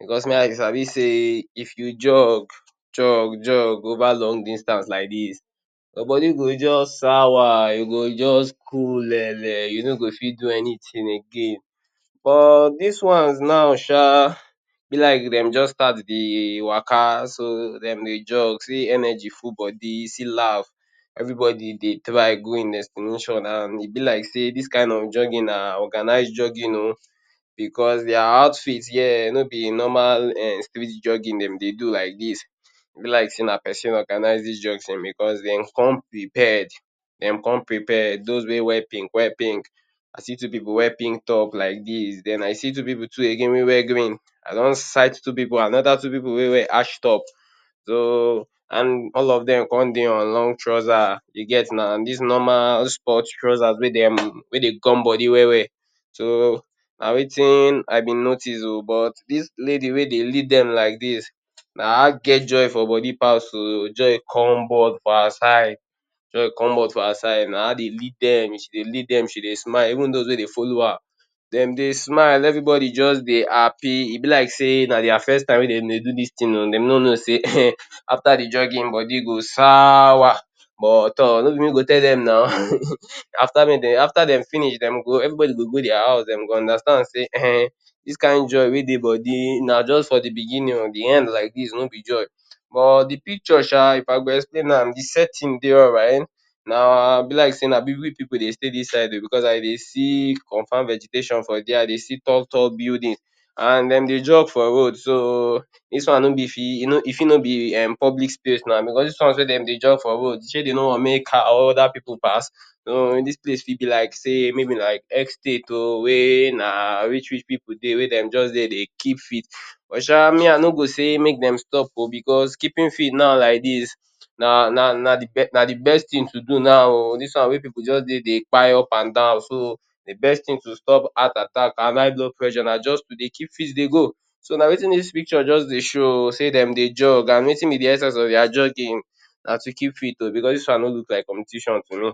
Becos me I sabi sey if you jog, jog, jog over long distance like dis, your bodi go juz sour, you go juz kulele, you no go fit do anytin again. But dis ones nau sha be like dem juz start dey waka, so dem dey jog sey energy full bodi, see laf. Everybodi dey try go ein destination, an e be like sey dis kain of jogging na organise jogging oh becos dia outfit here no be normal um street jogging dem dey do like dis. Be like sey na pesin organise dis jog tin becos dem come prepared. Dem come prepared. Dos wey wear pink wear pink. I see two pipu wear pink top like dis. Then I see two pipu too again wey wear green. I don sight two pipu another two pipu wey wear ash top. So an all of dem con dey on long trouser. You get nau? An dis normal sport trouser wey dem wey dey gum bodi well-well. So na wetin I bin notice oh. But dis lady wey dey lead dem like dis, na her get joy for body pass oh. Joy come for her side, joy come out for her side. Na her dey lead dem, she dey lead dem, she dey smile. Even dos wey dey follow her, dem dey smile. Everybodi juz dey happy. E be like sey na dia first time wey dem dey do dis tin oh. Dem no know sey after di jogging, bodi go sour. But toor no be me go tell dem nau. After make de after dem finish dem go everybodi go go dia house dem go understand sey dis kain joy wey dey bodi na juz for di beginning oh, di end like dis no be joy. But di picture sha, if I go explain am, di setting dey alright. Na be like sey na big-big pipu dey stay dis side oh becos I dey see confam vegetation for there, I dey see tall-tall building, an dem dey jog for road so dis wan no be fit e no e fit no be um public space nau. Becos dis one wey dem dey jog for road, shey dem no wan make car or other pipu pass? Dis place fit be like sey maybe like estate oh wey na rich-rich pipu dey wey dem juz dey dey keep fit. Well sha, me I no go say make dem stop oh becos keeping fit nau like dis na na na di na di best tin to do now oh. Dis one wey pipu juz dey dey kpai upandan so di best tin to stop heart attack and high blood pressure na juz to dey keep fit dey go. So, na wetin dis picture juz dey show oh sey dem dey jog, an wetin be di essence of dia jogging? Na to keep fit oh, becos dis one no look like competition to me.